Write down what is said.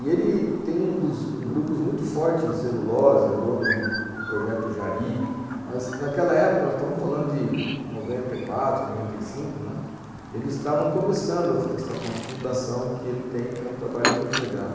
E ele um dos, tem um grupo muito forte em celulose, é dono do projeto Jari, mas naquela época, nós estamos falando de noventa e quatro, noventa e cinco, né, eles estavam começando uma fundação que ele tem, que é um trabalho muito legal.